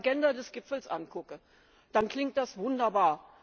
Wenn ich mir die Agenda des Gipfels angucke, dann klingt das wunderbar.